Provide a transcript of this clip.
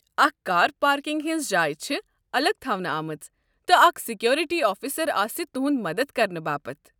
اكھ car parking ہِنٛز جاے چھِ الگ تھونہٕ آمٕژ، تہٕ اکھ سکیورٹی آفِسر آسہِ تُہُنٛد مدتھ کرنہٕ باپت۔